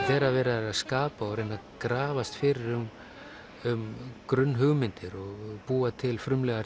þegar verið er að skapa og reynt að grafast fyrir um grunnhugmyndir og búa til frumlegar